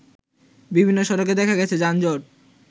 বিভিন্ন সড়কে দেখা গেছে যানজট